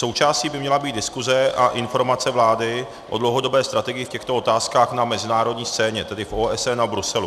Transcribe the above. Součástí by měla být diskuze a informace vlády o dlouhodobé strategii v těchto otázkách na mezinárodní scéně, tedy v OSN a Bruselu.